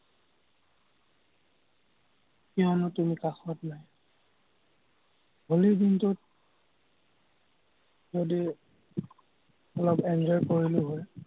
কিয়নো তুমি কাষত নাই। হলিৰ দিনটোত যদি অলপ enjoy কৰিলো হয়।